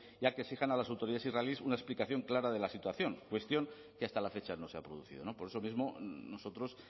y a que exijan a las autoridades israelís una explicación clara de la situación cuestión que hasta la fecha no se ha producido por eso mismo nosotros